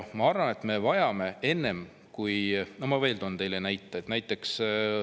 Ma toon veel ühe näite.